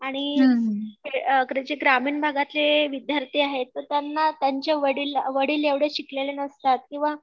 आणि हे जे ग्रामीण भागातले विद्यार्थी आहेत तर त्यांना त्यांचे वडील वडील एवढे शिकलेले नसतात किंवा